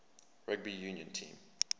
rugby union team